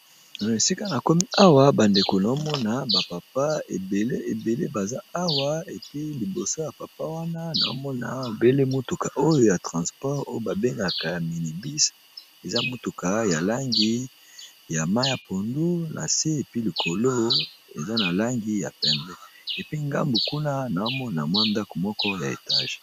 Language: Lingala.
Esika nakomi Awa bandeko na omona ba papa ebele baza awa puis liboso ya papa wana nazomona ebele mutuka oya ya transport oyo babenga minibus eza mutuka ya langi ya pondu nase puis likolo eza na langi yapembe puis ngambo kuna nazo Mona ndako ya étage.